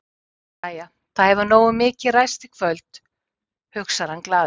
Jæja, það hefur nógu mikið ræst í kvöld, hugsar hann glaður.